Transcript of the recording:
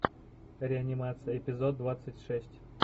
реанимация эпизод двадцать шесть